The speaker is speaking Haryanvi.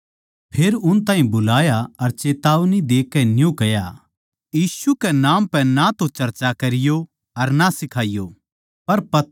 फेर उन ताहीं बुलाया अर चेतावनी देकै न्यू कह्या यीशु कै नाम पै ना तो वे चर्चा करै अर ना सिखाइयो